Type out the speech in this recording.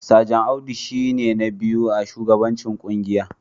Sajan Audu shi ne na biyu a shugabancin kungiyar